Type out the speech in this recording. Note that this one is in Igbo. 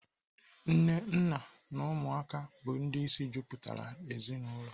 Nne, nna na ụmụ bụ ndị isi mejupụtara ezinaụlọ.